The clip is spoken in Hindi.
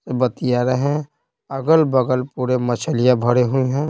बतीया रहे हैं अगल-बगल पूरे मछलियां भरे हुई हैं।